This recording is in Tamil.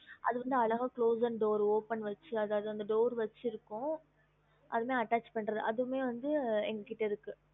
அது வந்து அழகா close and door open வச்சி அதாவது அந்த door வச்சு இருக்கும் அதுல attach பண்றது அதுமே வந்து எங்க கிட்ட இருக்கு